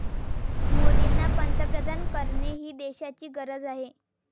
मोदींना पंतप्रधान करणे ही देशाची गरज आहे.